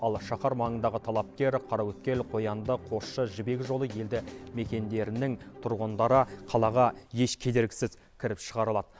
ал шаһар маңындағы талапкер қараөткел қоянды қосшы жібек жолы елді мекендерінің тұрғындары қалаға еш кедергісіз кіріп шығарылады